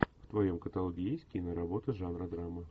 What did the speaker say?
в твоем каталоге есть киноработа жанра драма